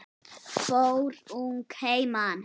Fór ung að heiman.